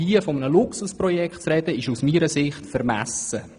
Von einem Luxusprojekt zu sprechen, ist aus meiner Sicht vermessen.